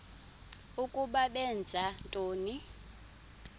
ukuba benza ntoni